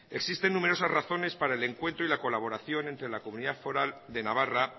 existen numerosas razones para el encuentro y la colaboración entre la comunidad foral de navarra